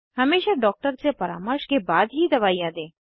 हमेशा डॉक्टर से परामर्श के बाद ही दवाइयाँ दें